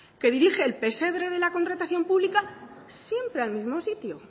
que dirige el pesebre de la contratación pública siempre al mismo sitio